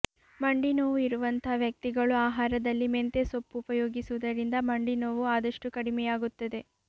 ಮಂಡಿ ನೋವು ಇರುವಂತ ವ್ಯಕ್ತಿಗಳು ಆಹಾರದಲ್ಲಿ ಮೆಂತ್ಯೆ ಸೊಪ್ಪು ಉಪಯೋಗಿಸುವುದರಿಂದ ಮಂಡಿ ನೋವು ಆದಷ್ಟು ಕಡಿಮೆಯಾಗುತ್ತದೆ